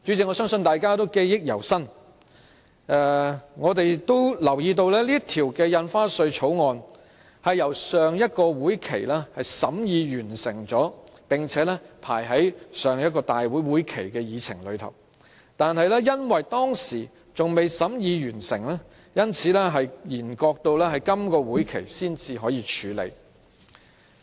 我相信大家仍然記憶猶新，並留意到《條例草案》已於上一個會期完成審議，亦已列為立法會會議的議程，但由於當時尚未完成審議，所以便延擱至今個會期才處理。